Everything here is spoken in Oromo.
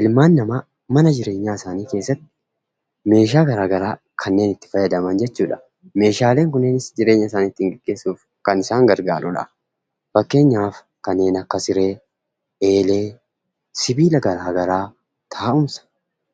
ilmaan namaa mana jireenyaaisaaniikeessatti meeshaa garaa garaa kanneen itti fayyadaman jechuudha. Meeshaaleen kunniinis jireenya isaanii ittiin gaggeessuuf kan isaan gargaarudha. Fakkeenyaaf, kanneen akka siree, eelee, sibiila garaa garaa, taa'umsa.